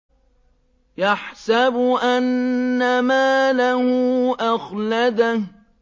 يَحْسَبُ أَنَّ مَالَهُ أَخْلَدَهُ